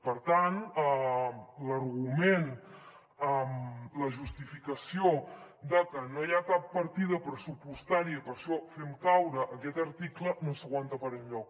per tant l’argument la justificació de que no hi ha cap partida pressupostària i per això fem caure aquest article no s’aguanta per enlloc